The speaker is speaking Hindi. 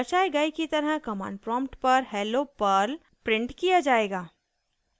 दर्शाये गए की तरह कमांड प्रॉम्प्ट पर hello perl प्रिंट किया जायेगा